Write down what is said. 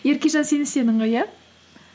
еркежан сен істедің ғой иә